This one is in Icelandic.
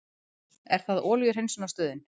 Er það olíuhreinsunarstöðin?